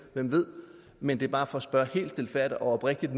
hvem ved men det er bare for at spørge helt stilfærdigt og oprigtigt